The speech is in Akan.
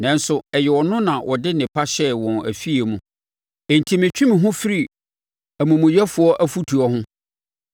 Nanso, ɛyɛ ɔno na ɔde nnepa hyɛɛ wɔn afie mu, enti metwe me ho mefiri amumuyɛfoɔ afutuo ho.